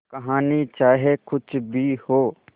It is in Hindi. कहानी चाहे कुछ भी हो